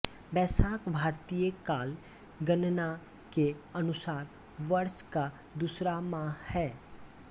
वैशाख भारतीय काल गणना के अनुसार वर्ष का दूसरा माह है